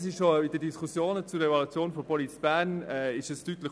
Dies wurde in den Diskussionen zur Evaluation von Police Bern deutlich.